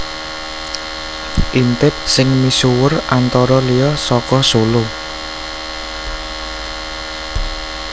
Intip sing misuwur antara liya saka Solo